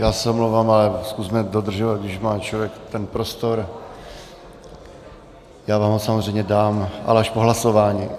Já se omlouvám, ale zkusme dodržovat, když má člověk ten prostor, já vám ho samozřejmě dám, ale až po hlasování.